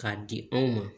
K'a di anw ma